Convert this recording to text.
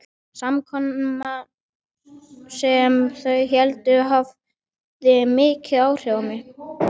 Samkoman, sem þau héldu, hafði mikil áhrif á mig.